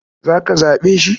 Za ka zaɓe shi?